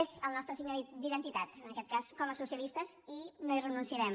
és el nostre signe d’identitat en aquest cas com a socialistes i no hi renunciarem